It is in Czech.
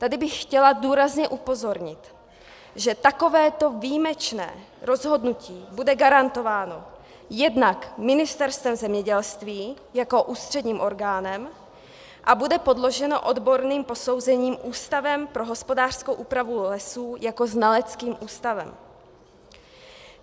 Tady bych chtěla důrazně upozornit, že takovéto výjimečné rozhodnutí bude garantováno jednak Ministerstvem zemědělství jako ústředním orgánem a bude podloženo odborným posouzením Ústavem pro hospodářskou úpravu lesů jako znaleckým ústavem.